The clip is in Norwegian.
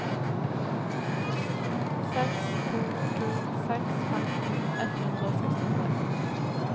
seks to to seks femten ett hundre og sekstitre